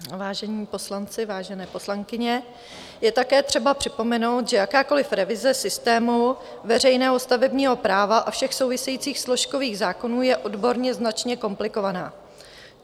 Vážení poslanci, vážené poslankyně, je také třeba připomenout, že jakákoliv revize systému veřejného stavebního práva a všech souvisejících složkových zákonů je odborně značně komplikovaná.